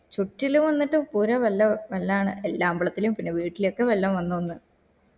ചുറ്റിലു വന്നിട്ട് കുറ കുറേ വെള്ളാണ് എല്ലാ അമ്പലത്തിലു പിന്നെ വീട്ടില് ഒക്ക വെള്ളം വന്നൂന്ന്